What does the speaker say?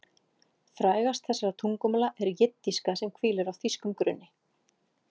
Frægast þessara tungumála er jiddíska sem hvílir á þýskum grunni.